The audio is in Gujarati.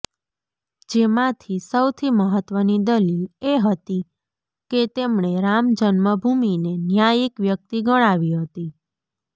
જેમાંથી સૌથી મહત્ત્વની દલીલ એ હતી કે તેમણે રામજન્મભૂમિને ન્યાયિક વ્યક્તિ ગણાવી હતી